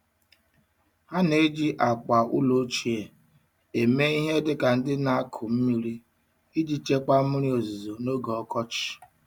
Ha na-eji akwa ụlọ ochie eme ihe dị ka ndị na-akụ mmiri iji chekwaa mmiri ozuzo n'oge ọkọchị.